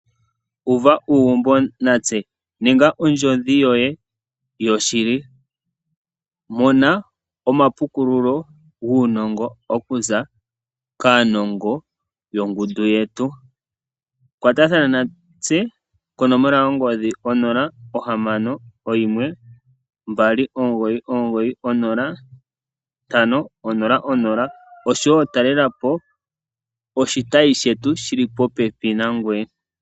Uva uugumbo natse. Ninga ondjodhi yoye yoshili. Mona omapukululo guunongo okuza kaanongo yongundu yetu. Kwatathana natse konomola yongodhi 061 2990500 osho wo talela po oshitayi shetu shi li popepi nangoye.